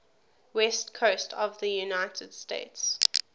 west coast of the united states